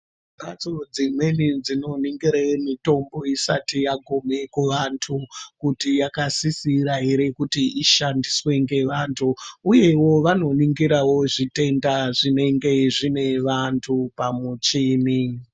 Mbatso dzimweni dzinoningire mitombo isati yagume kuvantu, kuti yakasisira ere kuti ishandiswe ngevantu uyewo vanoningirawo zvitenda zvinenge zvine vantu pamuchini.